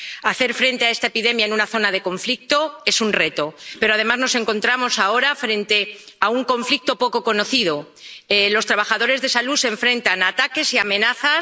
Hacer frente a esta epidemia en una zona de conflicto es un reto, pero, además, nos encontramos ahora frente a un conflicto poco conocido los trabajadores sanitarios se enfrentan a ataques y amenazas.